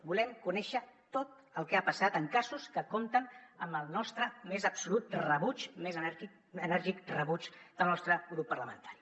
volem conèixer tot el que ha passat en casos que compten amb el nostre més absolut rebuig més enèrgic rebuig del nostre grup parlamentari